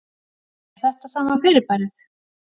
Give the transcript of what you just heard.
Er þetta sama fyrirbærið?